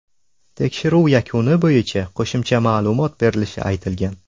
Tekshiruv yakuni bo‘yicha qo‘shimcha ma’lumot berilishi aytilgan.